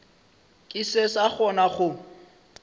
ke se sa kgona go